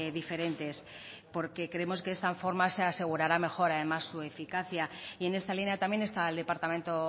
diferentes porque creemos que de esta forma se asegurará mejor además su eficacia y en esta línea también está el departamento